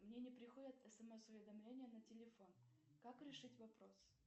мне не приходят смс уведомления на телефон как решить вопрос